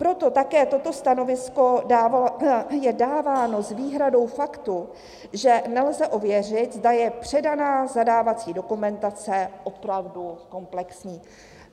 Proto také toto stanovisko je dáváno s výhradou faktu, že "nelze ověřit, zda je předaná zadávací dokumentace opravdu kompletní".